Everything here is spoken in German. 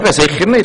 Sicher nicht.